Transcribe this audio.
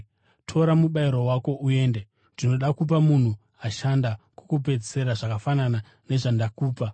Tora mubayiro wako uende. Ndinoda kupa munhu ashanda kwokupedzisira zvakafanana nezvandakupa.